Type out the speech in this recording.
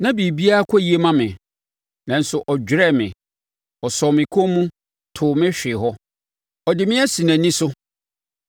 Na biribiara kɔ yie ma me, nanso ɔdwerɛɛ me; ɔsɔɔ me kɔn mu, too me hwee hɔ. Ɔde me asi nʼani so;